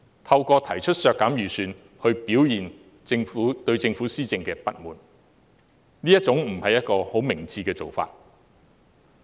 透過提出削減撥款來表達對政府施政的不滿，不是很明智的做法。